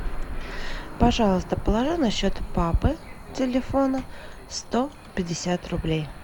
пожалуйста положи на счет папы телефона сто пятьдесят рублей